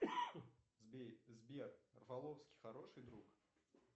сбер рафаловский хороший друг